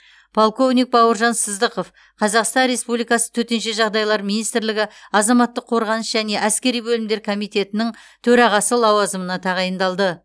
полковник бауыржан сыздықов қазақстан республикасы төтенше жағдайлар министрлігі азаматтық қорғаныс және әскери бөлімдер комитетінің төрағасы лауазымына тағайындалды